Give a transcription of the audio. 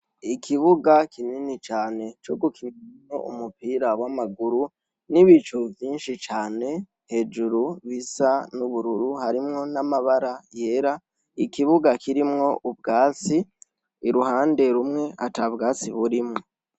Ikibuga kinini cane co gukiniramwo umupira w'amaguru n'ibicu vyinshi cane hejuru bisa n'ubururu, harimwo n'amabara yera. Ikibuga kirimwo ubwatsi, uruhande rumwe ata bwatsi burimwo.